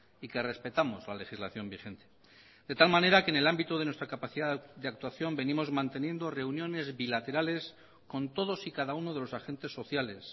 y que respetamos la legislación vigente de tal manera que en el ámbito de nuestra capacidad de actuación venimos manteniendo reuniones bilaterales con todos y cada uno de los agentes sociales